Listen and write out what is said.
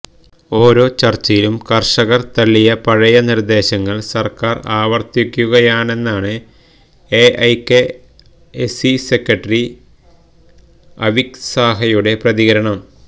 ഓരോ ചര്ച്ചയിലും കര്ഷകര് തള്ളിയ പഴയ നിര്ദേശങ്ങള് സര്ക്കാര് ആവര്ത്തിക്കുകയാണെന്നാണ് എഐകെഎസ്സി സെക്രട്ടറി അവിക് സാഹയുടെ പ്രതികരണം